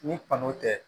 Ni kanu tɛ